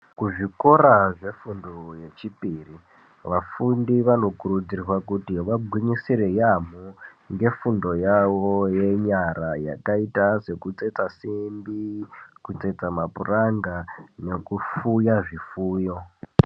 Kuzvikora zvefundo yechipiri, vafundi vanokurudzirwa kuti vagwinyisire yamo ngefundo yavo yeyara yakaita sekutsetsa sembi ,kutsetsa mapuranga nekufuya zvifuyo.